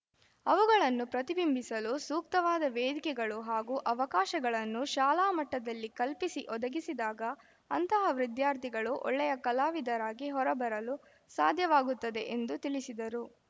ಅವುಗಳನ್ನು ಪ್ರತಿಬಿಂಬಿಸಲು ಸೂಕ್ತವಾದ ವೇದಿಕೆಗಳು ಹಾಗೂ ಅವಕಾಶಗಳನ್ನು ಶಾಲಾ ಮಟ್ಟದಲ್ಲಿ ಕಲ್ಪಿಸಿ ಒದಗಿಸಿದಾಗ ಅಂತಹ ವಿದ್ಯಾರ್ಥಿಗಳು ಒಳ್ಳೆಯ ಕಲಾವಿದರಾಗಿ ಹೊರಬರಲು ಸಾಧ್ಯವಾಗುತ್ತದೆ ಎಂದು ತಿಳಿಸಿದರು